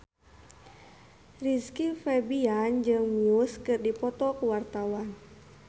Rizky Febian jeung Muse keur dipoto ku wartawan